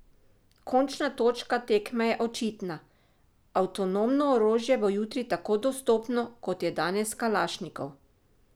Končna točka tekme je očitna: "avtonomno orožje bo jutri tako dostopno, kot je danes kalašnikov".